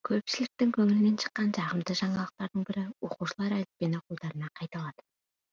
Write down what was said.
көпшіліктің көңілінен шыққан жағымды жаңалықтардың бірі оқушылар әліппені қолдарына қайта алады